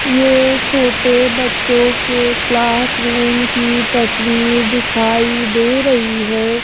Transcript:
ये छोटे बच्चों के क्लास रूम की तस्वीर दिखाई दे रही है।